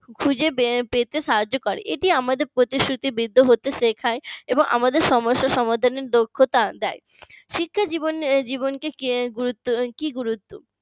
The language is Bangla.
খুঁজে পেতে সাহায্য করে, এটি আমাদের প্রতিশ্রুতি বৃদ্ধ হতে শেখায় এবং আমাদের সমস্যা সমাধানের দক্ষতা দেয় শিক্ষাজীবনের কি গুরুত্ব